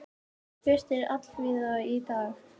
Birtir allvíða í dag